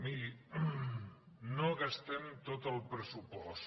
miri no gastem tot el pressupost